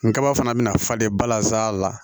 N kaba fana bɛna faden balazan la